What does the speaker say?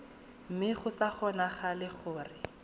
mme go sa kgonagale gore